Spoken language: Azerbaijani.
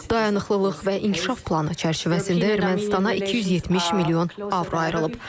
Dayanıqlılıq və inkişaf planı çərçivəsində Ermənistana 270 milyon avro ayrılıb.